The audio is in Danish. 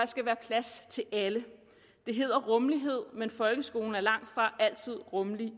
skal være plads til alle det hedder rummelighed men folkeskolen er langtfra altid rummelig